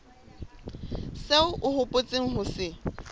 seo o hopotseng ho se